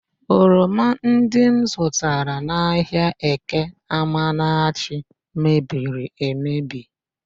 Oroma ndị m zụtara n'ahịa Eke Amanachi mebiri emebi